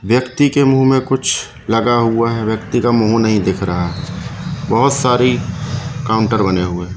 व्यक्ति के मुंह में कुछ लगा हुआ है व्यक्ति का मुंह नहीं दिख रहा है बहोत सारी काउंटर बने हुए हैं।